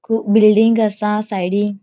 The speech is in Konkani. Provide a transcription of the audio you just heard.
कुब बिल्डिंग आसा सायडीन .